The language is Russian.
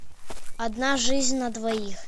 одна жизнь на двоих